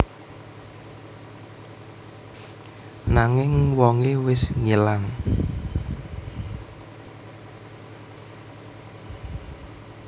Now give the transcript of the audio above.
Nanging wongé wis ngilang